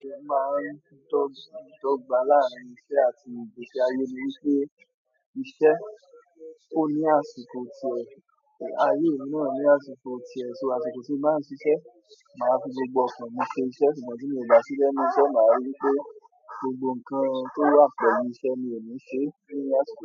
Bi mo máa ń dógbà láàárín iṣẹ́ àti ìgbésí ayé ni wípé iṣẹ́ ó ní àsìkò ti è, ayé mì náà ní àsìkò ti è, so àsìkò ti n bá ń ṣiṣẹ́, màá fi gbogbo ọkàn mi ṣe iṣẹ́, ṣùgbọ́n tí mi o bà sí lẹ̀nú iṣẹ́, màá rí wípé gbogbo nǹkan to wa pẹ̀lú iṣẹ́ ni emi se ni àsìkò.